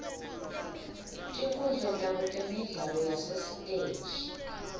tinkhundla tabo temidlalo yasesitej